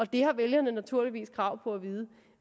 det har vælgerne naturligvis krav på at vide